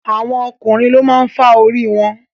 àwọn ọkùnrin ló máa ń fà orí wọn.